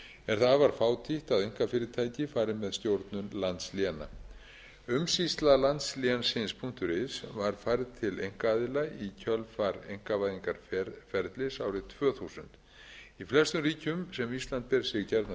er það afar fátítt að einkafyrirtæki fari með stjórnun landsléna umsýsla landslénsins punktur is var færð til einkaaðila í kjölfar einkavæðingarferlis árið tvö þúsund í flestum ríkjum sem ísland ber sig